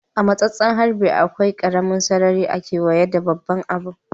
A'matsasen harbi ,akwai karemin sarari a'keweye da babban abun.